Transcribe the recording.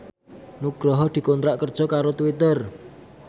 Nugroho dikontrak kerja karo Twitter